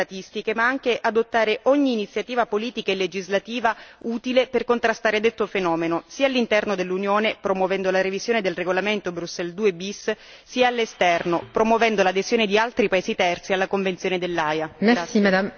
Per questo penso sia necessario non solo aggiornare le statistiche ma anche adottare ogni iniziativa politica e legislativa utile per contrastare detto fenomeno sia all'interno dell'Unione, promuovendo la revisione del regolamento Bruxelles II bis, sia all'esterno, promuovendo l'adesione di altri paesi terzi alla Convenzione dell'Aia.